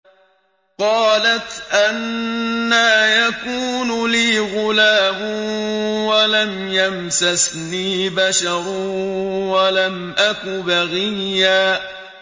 قَالَتْ أَنَّىٰ يَكُونُ لِي غُلَامٌ وَلَمْ يَمْسَسْنِي بَشَرٌ وَلَمْ أَكُ بَغِيًّا